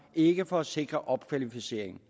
ikke for at sikre opkvalificering